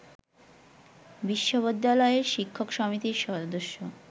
বিশ্ববিদ্যালয়ের শিক্ষক সমিতির সদস্য